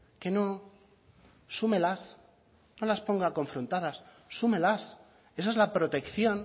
que no súmelas no las ponga confrontadas súmelas esa es la protección